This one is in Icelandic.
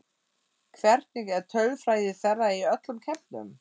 Hvernig er tölfræði þeirra í öllum keppnum?